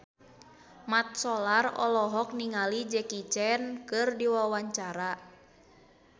Mat Solar olohok ningali Jackie Chan keur diwawancara